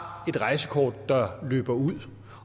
et rejsekort der løber ud